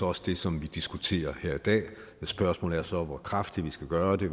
også det som vi diskuterer her i dag og spørgsmålet er så hvor kraftigt vi skal gøre det